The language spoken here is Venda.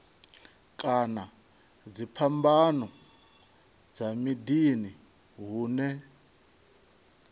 kana dziphambano dza miḓini hune